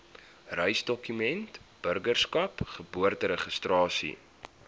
reisdokumente burgerskap geboorteregistrasie